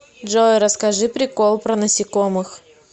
джой расскажи прикол про насекомых